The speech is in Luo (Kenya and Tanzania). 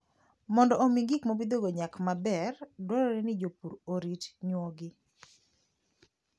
Mondo omi gik mopidhogo nyak maber, dwarore ni jopur orit nyuogi.